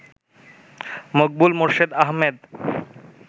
Maqbool Morshed Ahmed